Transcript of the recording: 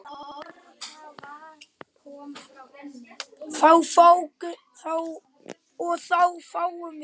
og þá fáum við